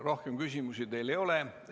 Rohkem küsimusi teile ei ole.